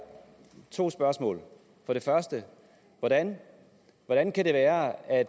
to spørgsmål for det første hvordan hvordan kan det være at